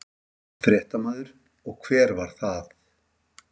Fréttamaður: Og hver var það?